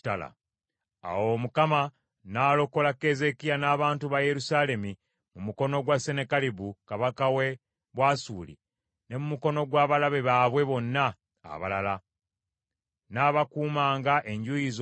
Awo Mukama n’alokola Keezeekiya n’abantu ba Yerusaalemi mu mukono gwa Sennakeribu kabaka w’e Bwasuli ne mu mukono gw’abalabe baabwe bonna abalala. N’abaakuumanga enjuuyi zonna.